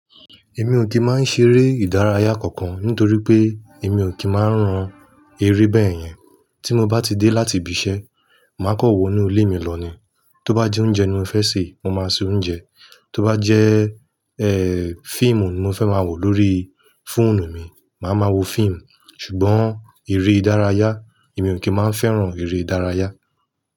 Èmi ò kì í máa ń ṣeré ìdárayá kankan nítorí pé èmi ò kí máa ń rán eré bẹ́ẹ̀ yẹn. Tí mo bá ti dé láti ibi iṣẹ́, màá kan wọ inú ilé mi lọ ni. Tó bá jẹ́ oúnjẹ ni mo fẹ́ sè, mo máa ṣe oúnjẹ. Tó bá jẹ́ eh fíìmù ni mo fẹ́ máa wò lórí fóònù mi, màá ma wo fíìmù. Ṣùgbọ́n ère ìdárayá, èmi ò kí máa ń fẹ́ràn eré ìdárayá.